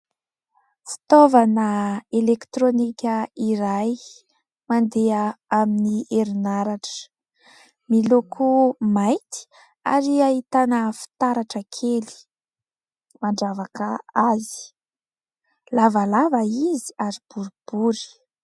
Fitaovana elektronika iray mandeha amin'ny herinaratra, miloko mainty ary ahitana fitaratra kely mandravaka azy. Lavalava izy ary boribory.